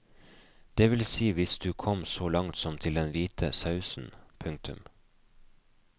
Det vil si hvis du kom så langt som til den hvite sausen. punktum